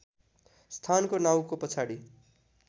स्थानको नाउँको पछाडि